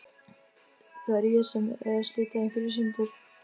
Það er ég sem er að slíta ykkur í sundur.